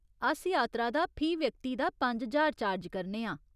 अस यात्रा दा फी व्यक्ति दा पंज ज्हार चार्ज करने आं।